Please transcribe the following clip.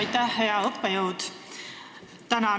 Aitäh, hea õppejõud!